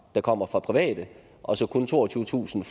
der kommer fra private og så kun toogtyvetusind